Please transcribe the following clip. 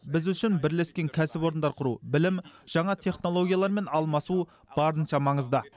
біз үшін бірлескен кәсіпорындар құру білім және жаңа технологиялармен алмасу барынша маңызды